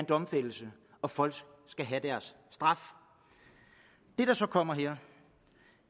domfældelse og folk skal have deres straf det der så kommer her